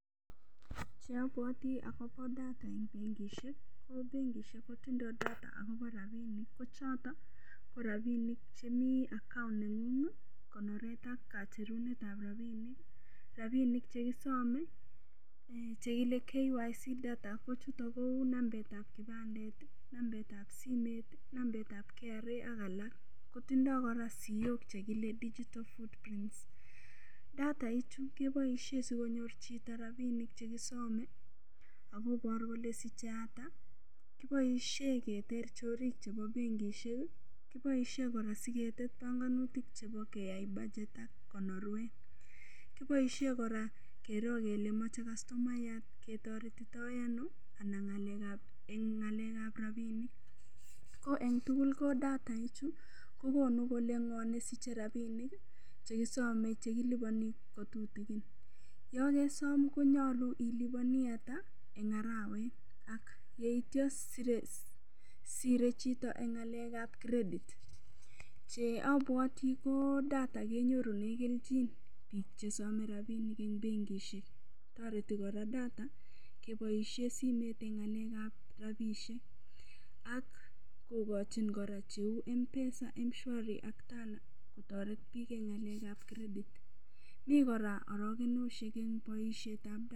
Ye abwoti akobo data eng' bengishek ko bengishek kotindoi data akobo rapinik ko choto ko rapinik chemi account neng'ung konoret ak kacherunetab rapinik rapinik chekisome chekile KYC data kochuto kou nambetab kipandet nambetab simet nambetab KRA ak alak kotindoi kora siyok chekile digital footprint dadai chu keboishe sikonyor chito rapinik chekisomei akobor kole sichei at kiboishe keter chorik chebo bengishek kiboishe kora siket banganutik chebo keyai badget ak konorwek kiboishe kora kero kele mochei kastomayat ketoretito ano anan eng' ng'alekab rapinik ko eng' tugul ko dataini chu kokonu kole ng'o nesichei rapinik chekisomei chekilipani kotutikin yo kesom konyolu ilipani ata eng' arawet ak yeityo sirei chito eng' ng'alekab credit che abwoti ko data kenyorune keljin biik chesomei rapinik eng' bengishek toreti data keboishe simet eng' ng'alekab rapishek ak kokochin kora cheu mpesa mshwari ak Tala kotoret biik eng' ng'alekab credit mi kora orokenoshek eng' boishetab data